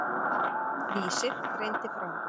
Vísir greindi frá.